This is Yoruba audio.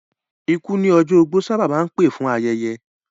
Ikú ní ọjọ́ ogbó sábà máa ń pè fún ayẹyẹ